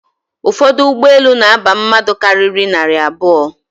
Ụfọdụ ụgbọelu na-aba mmadụ karịrị narị abụọ